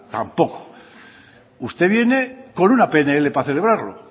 tampoco usted viene con una pnl para celebrarlo